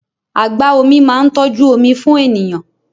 Agba-omi máa ń tọ́jú omi fún ènìyàn.